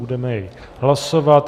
Budeme jej hlasovat.